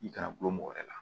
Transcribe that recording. I kana gulon mɔgɔ wɛrɛ la